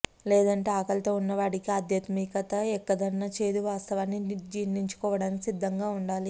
లేదంటే ఆకలితో ఉన్నవాడికి ఆధ్యాత్మికత ఎక్కదన్న చేదు వాస్తవాన్ని జీర్ణించుకోడానికి సిద్ధంగా ఉండాలి